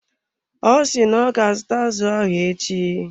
Ọ si na ọ ga azụta azụ ahụ echi.